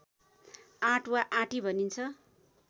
आट वा आँटी भनिन्छ